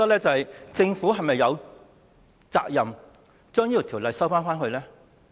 政府是否有責任把《條例草案》收回？